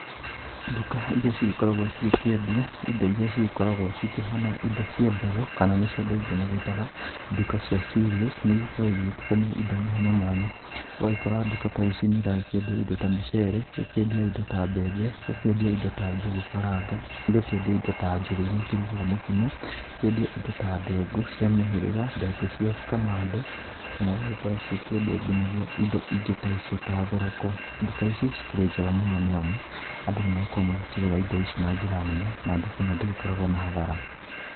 Nduka iria cigĩkoragwo cikĩendia indo iria cigĩkoragwo cikĩhana indo cia mbegũ, kana nĩ cio andũ aingĩ magĩĩtaga ndũka cia cereals. Nĩ ikoragwo igĩgĩtukania indo mwanya mwanya, ũgagĩkora duka ta ici nĩ iragĩkĩendia indo ta mũcere, igakĩendia indo ta mbembe, igakĩendia indo ta njũgũ karanga, igakĩendia indo ta njũgũ iria ikĩrugaga mokimo, ikendia indo ta ndengũ cia mĩhĩrĩga, ndengũ cia kamande, kana ũgagĩkora cikĩendia nginagia indi ingĩ ta icio ta thoroko. Nduka ici cikĩrĩ njega mũno nĩ amu andũ nĩ magĩkoragwo magĩkĩgũra indo ici na njĩra nene na nduka ĩno ndĩgĩkoragwo na hathara.